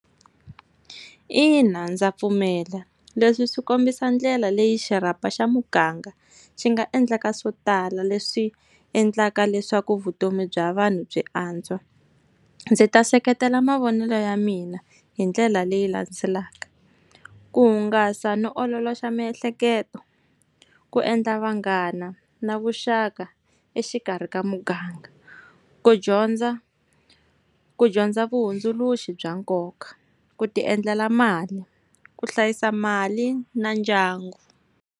Ina ndza pfumela. Leswi swi kombisa ndlela leyi xirhapa xa muganga, xi nga endlaka swo tala leswi endlaka leswaku vutomi bya vanhu byi antswa. Ndzi ta seketela mavonelo ya mina hi ndlela leyi landzelaka. Ku hungasa no ololoxa miehleketo, ku endla vanghana na vuxaka exikarhi ka muganga, ku dyondza, ku dyondza vahundzuluxi bya nkoka, ku ti endlela mali, ku hlayisa mali na ndyangu.